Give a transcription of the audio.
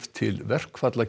til verkfalla